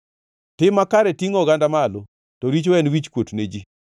Tim makare tingʼo oganda malo, to richo en wichkuot ne ji.